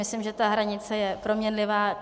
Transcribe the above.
Myslím, že ta hranice je proměnlivá.